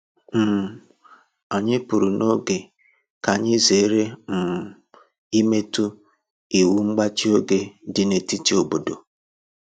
um Anyị pụrụ n'oge ka anyị zere um imetụ iwu mgbachi oge dị n’etiti obodo